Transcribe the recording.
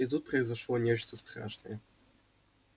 и тут произошло нечто страшное